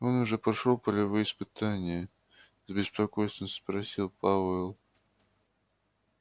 он уже прошёл полевые испытания с беспокойством спросил пауэлл